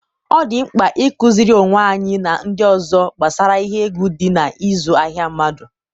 ọ dị mkpa ịkụziri onwe anyị na ndị ọzọ gbasara ihe egwu dị n'ịzụ ahịa mmadụ.